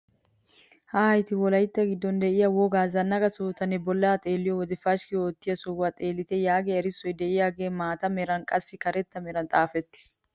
Haayite wolaytta giddon de'iyaa wogaa zannaqa sohotanne bollaa xeelliyoo wode pashikki oottiyaa sohuwaa xeellite yaagiyaa erissoy de'iyaagee maata meraaninne qassi karetta mran xaafetttis.